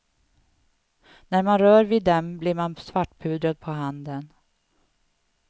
När man rör vid dem blir man svartpudrad på handen.